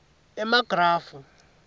emagrafu